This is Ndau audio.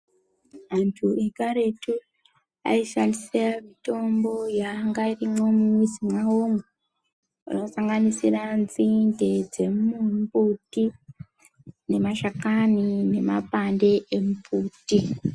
Antu ekaretu aishandisa mutombo yainga irimwo mumizi mwavomwo anosanganisira nzinde dzemumbuti nemashakani nemapande emumbuti.